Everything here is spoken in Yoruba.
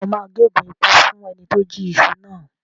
Ǹjẹ́ o máa gé ègún ikú fún ẹni tí ó jí iṣu náà?